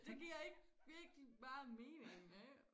Det giver ikke virkelig meget mening